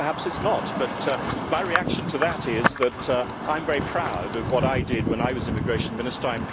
I think perhaps it is not. My reaction to it is that I am very proud of what I did when I was Immigration Minister